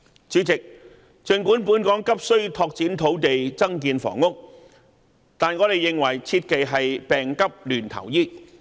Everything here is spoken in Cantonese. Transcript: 主席，儘管本港急需拓展土地增建房屋，但我們認為切忌病急亂投醫。